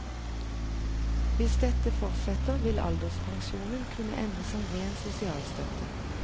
Hvis dette fortsetter vil alderspensjonen kunne ende som ren sosialstøtte.